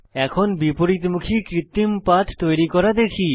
এখন বিপরীতমুখী কৃত্রিম পাথ তৈরি করা দেখি